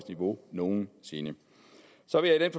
niveau nogen sinde så vil jeg i